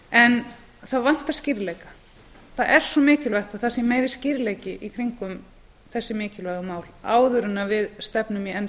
en það vantar skýrleika það er svo mikilvægt að það sé meiri skýrleiki í kringum þessi mikilvægu mál áður en við stefnum í enn